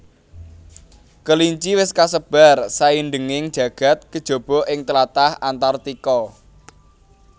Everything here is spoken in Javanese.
Kelinci wis kasebar saindhenging jagad kejaba ing tlatah Antartika